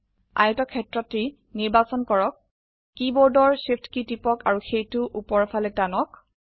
আয়তক্ষেটৰটি নিৰ্বাচন কৰক কীবোৰ্ডৰ Shift কী টিপক আৰু সেইটো উপৰ ফালে টানক